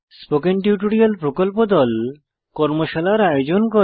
spoken tutorial প্রকল্প দল কর্মশালার আয়োজন করে